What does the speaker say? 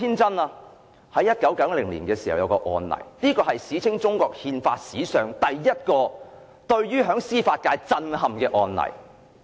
在1990年發生一宗案例，是中國憲法史上首宗震憾司法界的案例。